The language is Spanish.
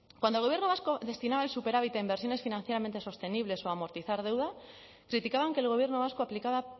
cuando gobierno vasco destinaba el superávit a inversiones financieramente sostenibles o a amortizar deuda criticaban que el gobierno vasco aplicaba